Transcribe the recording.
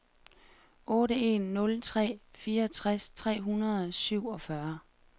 otte en nul tre fireogtres tre hundrede og syvogfyrre